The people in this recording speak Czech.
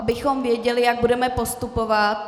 Abychom věděli, jak budeme postupovat.